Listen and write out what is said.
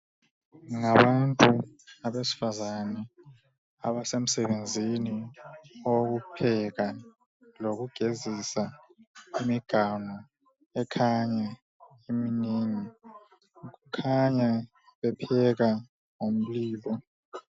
Ngabantu abesifazane abasemsebenzini owokupheka lokugezisa imiganu ekhanya iminengi kukhanya bebeka ngomlilo